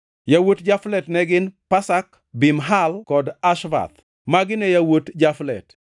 Yawuot Jaflet ne gin: Pasak, Bimhal kod Ashvath. Magi ne yawuot Jaflet.